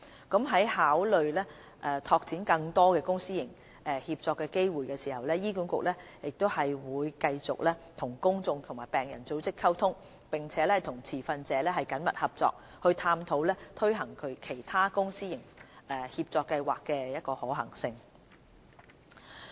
在考慮拓展更多公私營協作機會時，醫管局會繼續與公眾及病人組織溝通，並與持份者緊密合作，探討推行其他公私營協作計劃的可行性。